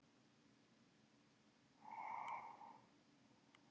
Fálkagötu